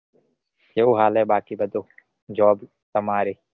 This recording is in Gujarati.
કેવું હાલે બાકી બધું? job તમારે